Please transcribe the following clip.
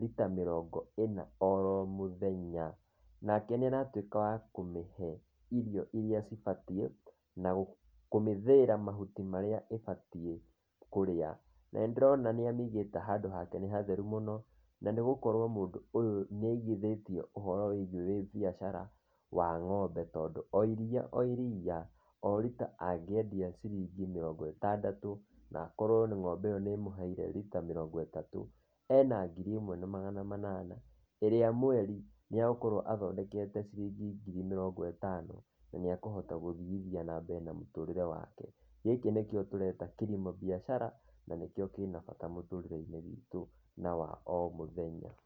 rita mĩrongo ĩna oromũthenya, nake nĩ arahota wa kũmĩhe irio iria cibatiĩ na kũmĩthĩĩra mahuti marĩa ĩbatiĩ kũrĩa. Na ndĩrona nĩ amĩigĩte handũ hatheru mũno, na nĩ gũkorwo mũndũ ũyũ nĩ aigithĩtie ũhoro wĩgiĩ biacara ĩgiĩ ng'ombe tondũ iria o iria, o-rita angĩendia ciringi mĩrongo ĩtandatũ na akorwo ng'ombe ĩyo nĩ ĩmũheire rita mĩrongo ĩtatũ, ena ngiri ĩmwe na magana manana, ĩrĩa mweri nĩ egukorwo athondekete ngiri mĩrongo ĩtano, na nĩ ekũhota gũthiathiithia na mũtũrĩre wake. Gĩkĩ nĩkĩo tũreta kilimo biashara na nĩkĩo kĩna bata mũtũrĩre-inĩ witũ wa o mũthenya.